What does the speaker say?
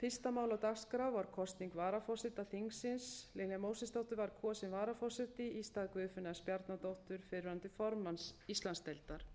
fyrsta mál á dagskrá var kosning varaforseta þingsins lilja mósesdóttir var kosin varaforseti í stað guðfinnu s bjarnadóttur fyrrverandi formanns íslandsdeildar